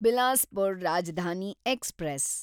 Bilaspur Rajdhani express